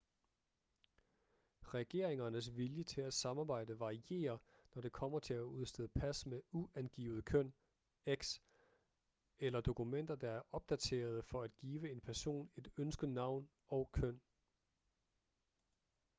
regeringernes vilje til at samarbejde varierer når det kommer til at udstede pas med uangivet køn x eller dokumenter der er opdaterede for at give en person et ønsket navn og køn